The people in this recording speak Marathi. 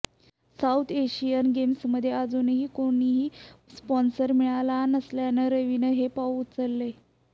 साऊथ एशियन गेम्समध्ये अजूनही कोणताही स्पॉन्सर मिळाला नसल्यानं रवीनं हे पाऊल उचललंय